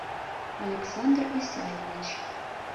александр исаевич